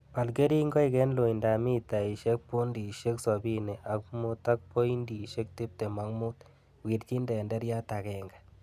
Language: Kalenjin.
Bal kerinkoik en loindab mitaisiek pontisiek sobini ok mut ak pointisiek tiptem ak mut. Wirchin tenderiat agenge.